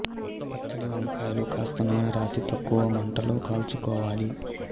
పచ్చడి వంకాయలు కాస్త నూనె రాసి తక్కువ మంటలో కాల్చుకోవాలి